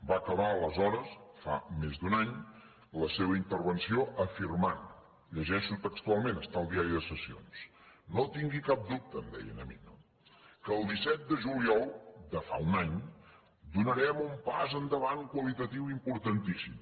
va acabar aleshores fa més d’un any la seva intervenció afirmant ho llegeixo textualment està al diari de sessions no tingui cap dubte em deia a mi que el disset de juliol de fa un any donarem un pas endavant qualitatiu importantíssim